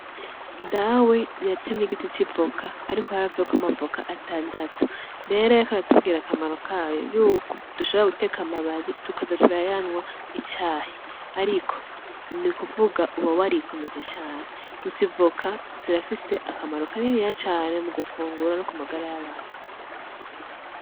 Date yatemy'igiti c'ivoka ariko haravuyeko amavoka atandatu, aca aratubwira akamaro kayo :dushobora guteka amababi tukaza turayanwa icayi ariko nukuvuga ko bituma ukomera cane, kand'ivoka zirafise akaniniya cane kumagara y'abantu bazifunguye.